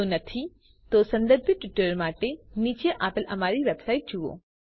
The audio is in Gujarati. જો નહિં તો સંબંધિત ટ્યુટોરીયલ માટે નીચે આપેલ અમારી વેબસાઇટ જુઓ